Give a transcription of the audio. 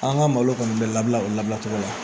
An ka malo kɔni bɛ labila o labila cogo la